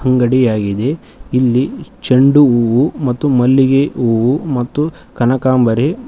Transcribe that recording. ಅಂಗಡಿ ಆಗಿದೆ ಇಲ್ಲಿ ಚೆಂಡು ಹೂವು ಮತ್ತು ಮಲ್ಲಿಗೆ ಹೂವು ಮತ್ತು ಕನಕಂಬರೆ--